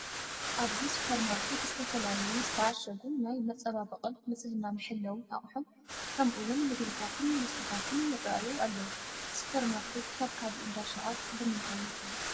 ኣብዚ ሱፐር ማርኬት ዝተፈላለዩ ዝተዓሸጉ ናይ መፀባበቒን ንፅህናመሓለውን ኣቑሑ ከምኡውን ምግብታትን መስተታትን ይርአዩ ኣለዉ፡፡ ሱፐር ማርኬት ካብ ካልእ እንዳ ሸቐጥ ብምንታይ ይፍለ?